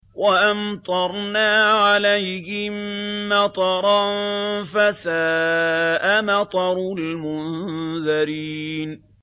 وَأَمْطَرْنَا عَلَيْهِم مَّطَرًا ۖ فَسَاءَ مَطَرُ الْمُنذَرِينَ